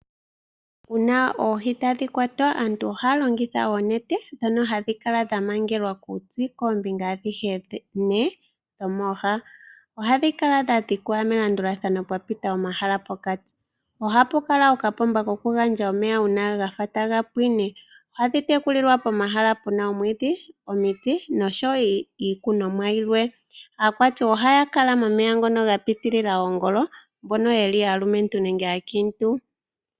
Uuna oohi tadhi kwatwa, aantu ohaya longitha oonete ndhono hadhi kala dha mangelwa kuuti koombinga adhihe ne dhomooha. Ohadhi kala dha dhikwa melandulathano pwa pita omahala pokati. Ohapu kala okapomba kokugandja omeya, uuna ga fa taga pwine. Ohadhi tekulilwa pomahala pu na omwiidhi, omiti nosho wo iikunomwa yimwe. Aakwati ohaya kala momeya ngono ga pitilila oongolo mbono ye li aalumentu nenge aakiintu.